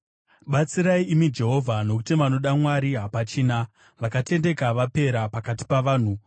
Batsirai, imi Jehovha, nokuti vanoda Mwari hapachina; vakatendeka vapera pakati pavanhu.